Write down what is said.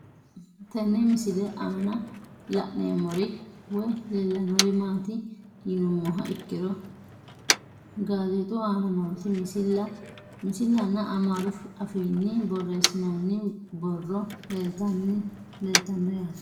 Tene misile aanna la'neemmori woyi leelannori maatti yinummoha ikkiro gazexxu aanna nootti misila nna amaaru affinni borreessinoonni borro leelittanno yaatte